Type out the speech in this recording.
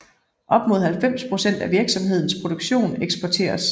Op mod 90 procent af virksomhedens produktion eksporteres